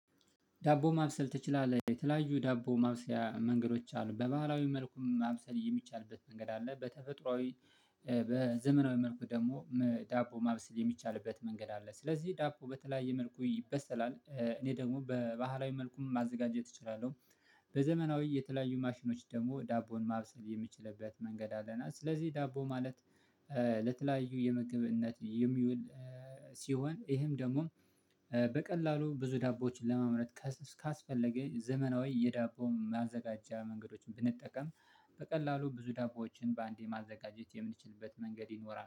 "ዳቦ ማብሰል ትችላለህ?" የተለያዩ ዳቦ ማብሰያ መንገዶች አሉ። በባህላዊ መልኩም ማብሰል የሚቻልበት መንገድ አለ፤ በተፈጥሯዊ በዘመናዊ መልኩ ደግሞ ዳቦ ማብሰል የሚቻልበት መንገድ አለ። ስለዚህ ዳቦ በተለያየ መልኩ ይበሰላል። እኔ ደግሞ በባህላዊ መልኩም ማዘጋጀት እችላለሁ። በዘመናዊ የተለያዩ ማሽኖች ደግሞ ዳቦን ማብሰል የምችልበት መንገድ አለ፤ እና ስለዚህ ዳቦ ማለት ለተለያዩ የምግብነት የሚውል ሲሆን ይሄም ደግሞ በቀላሉ ብዙ ዳቦዎችን ለማምረት ካስፈለገኝ ዘመናዊ የዳቦ ማዘጋጃ መንገዶችን ብንጠቀም በቀላሉ ብዙ ዳቦዎችን በአንዴ ማዘጋጀት የምንችልበት መንገድ ይኖራል።